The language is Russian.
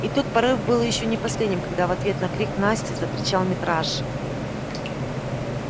и тот порыв был ещё не последним когда в ответ на крик насти закричал митраша